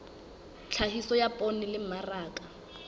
tlhahiso ya poone le mmaraka